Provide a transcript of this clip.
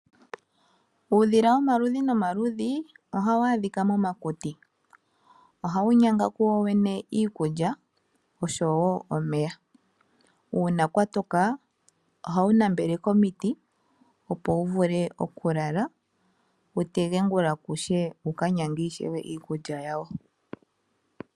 Uudhila womaludhi gayooloka ohawu adhika momakuti. Ohawu nyanga wo wene iikulya osho wo omeya. Uuna kwatoka ohawu nambele komiti opo wu vule okulala wu tege ongula ku she wo wuka nyange iikulya ishewe.